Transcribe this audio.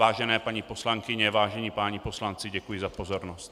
Vážené paní poslankyně, vážení páni poslanci, děkuji za pozornost.